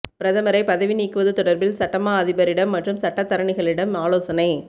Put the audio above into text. பிரதமரை பதவி நீக்குவது தொடர்பில் சட்டமா அதிபரிடம் மற்றும் சட்டத்தரணிகளிடம் ஆலோசனை